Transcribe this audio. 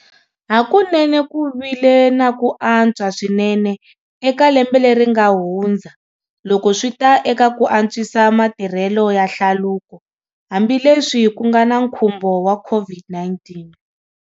Hakunene ku vile na ku antswa swinene eka lembe leri nga hundza loko swi ta eka ku antswisa matirhelo ya hlaluko, hambileswi ku nga na nkhumbo wa COVID-19.